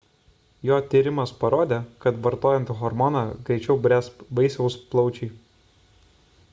jo tyrimas parodė kad vartojant hormoną greičiau bręs vaisiaus plaučiai